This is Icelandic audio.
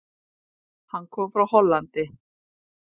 Hann kom frá Hollandi.